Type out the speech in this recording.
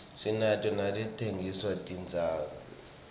sinato naletitsengisa tincwadzi